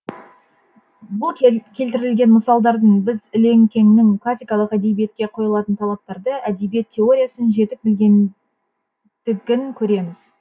бұл келтірілген мысалдардан біз ілекеңнің классикалық әдебиетке қойылатын талаптарды әдебиет теориясын жетік білгендігін көреміз